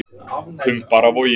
Kumbaravogi